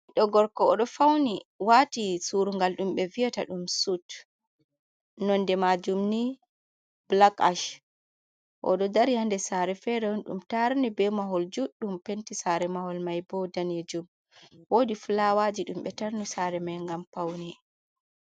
Ɓiɗdo gorko o ɗo fauni wati surungal ɗumɓe vi'ata sut, nonde majum ni black-ash. O ɗo dari hander sare fere on ɗum tarni be mahol juɗɗum, Penti sare mahol mai bo danejum. Wodi fulawaji ɗum ɓe tarni sare mai gam paune.